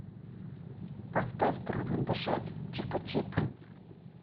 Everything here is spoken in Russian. поставь трудно дышать чипачип